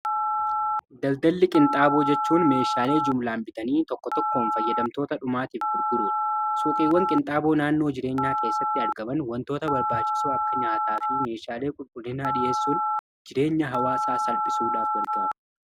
Daldalli qinxaaboo jechuun meeshaalee jumlaan bitanii tokko tokkoon fayyadamtoota dhumaatiif gurguruudha. Suuqiiwwan qinxaaboo naannoo jireenyaa keessatti argaman wantoota barbaachisu akka nyaataa fi meeshaalee qulqullinaa dhi'eessuun jireenya hawaasaa salphisuudhaaf gargaaru.